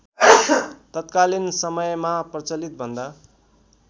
तत्कालीन समयमा प्रचलितभन्दा